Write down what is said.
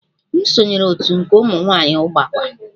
M sonyeere otu nke ụmụ nwanyị Ugbakwa